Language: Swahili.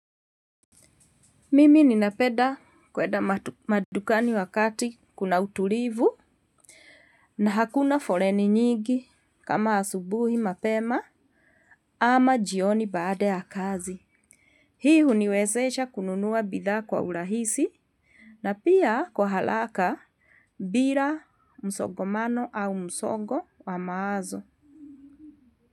Mimi ninapeda kweda madukani wakati kuna utulivu, na hakuna foleni nyingi kama asubuhi mapema ama jioni baada ya kazi. Hii huniwezesha kununua bidhaa kwa urahisi na pia kwa haraka bila msogomano au msogo wa mawazo.